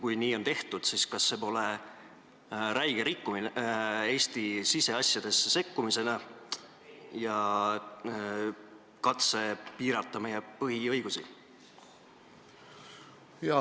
Kui nii on tehtud, siis kas see pole räige Eesti siseasjadesse sekkumine ja katse piirata meie põhiõigusi?